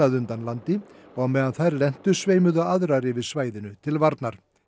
undan landi á meðan þær lentu sveimuðu aðrar yfir svæðinu til varnar